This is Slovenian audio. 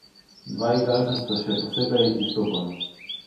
Dva igralca sta še posebej izstopala.